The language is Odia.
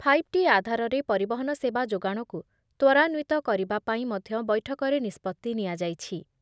ଫାଇଭ୍ ଟି ଆଧାରରେ ପରିବହନ ସେବା ଯୋଗାଣକୁ ତ୍ବରାନ୍ବିତ କରିବା ପାଇଁ ମଧ୍ୟ ବୈଠକରେ ନିଷ୍ପତ୍ତି ନିଆଯାଇଛି ।